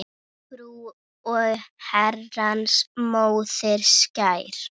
Frú er Herrans móðir skær.